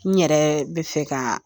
N yɛrɛ bɛ fɛ ka